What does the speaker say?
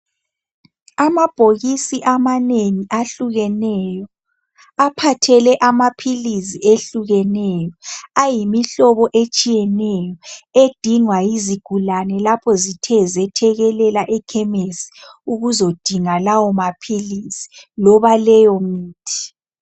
Amabhokisi amanengi ahlukeneyo aphathele ama pilisi ehlukeneyo ayimihlobo etshiyeneyo edingwa yizigulane lapho zithe zethekelela ekhemisi ukuzodinga lawo mapilis loba leyo mithi.